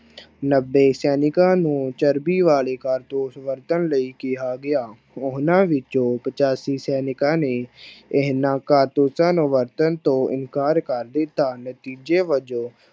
ਨੱਬੇ ਸੈਨਿਕਾਂ ਨੂੰ ਚਰਬੀ ਵਾਲੇ ਕਾਰਤੂਸ ਵਰਤਣ ਲਈ ਕਿਹਾ ਗਿਆ, ਉਹਨਾਂ ਵਿੱਚੋਂ ਪਚਾਸੀ ਸੈਨਿਕਾਂ ਨੇ ਇਹਨਾਂ ਕਾਰਤੂਸਾਂ ਨੂੰ ਵਰਤਣ ਤੋਂ ਇਨਕਾਰ ਕਰ ਦਿੱਤਾ ਨਤੀਜੇ ਵਜੋਂ